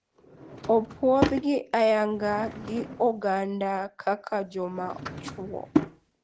Opuondhgi ayanga gi oganda kaka joma chwo.